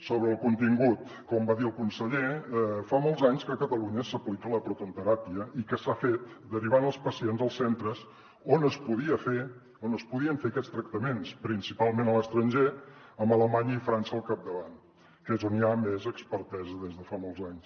sobre el contingut com va dir el conseller fa molts anys que a catalunya s’aplica la protonteràpia i que s’ha fet derivant els pacients als centres on es podien fer aquests tractaments principalment a l’estranger amb alemanya i frança al capdavant que és on hi ha més expertesa des de fa molts anys